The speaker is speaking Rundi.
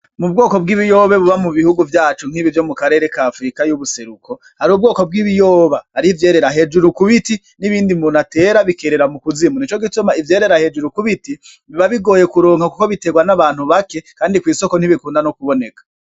Mu bwoko bwibiyaba buba mu bihugu vyacu nkibi vyo mu karere ka Afirika yubuseruko hari ubwoko bwiyiboba hariho ivyerera hejuru kubiti nibindi umuntu atera bikerera mukuzimu nico gituma ivyerera hejuru kubiti biba bigoye kuronka kuko bitegwa nabantu bake kandi kwisoko ntibikunda no kuboneka.